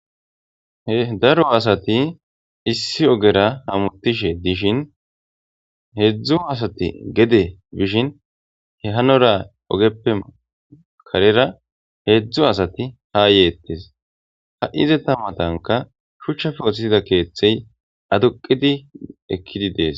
daro asati issi ogera hamutishe dishin heedzdzu asati gede bishin he hanora ogeppe karera heedzdzu asati ha yeettes ha7izeta matanka shuchchafe othiida keeththey aduqidi ekkidi dees